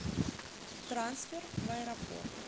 трансфер в аэропорт